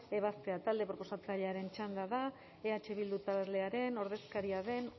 ebaztea talde proposatzailearen txanda da eh bildu taldearen ordezkaria den